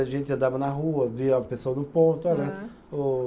A gente andava na rua, via a pessoa no ponto.